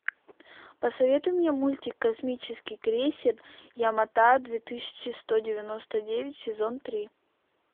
посоветуй мне мультик космический крейсер ямато две тысячи сто девяносто девять сезон три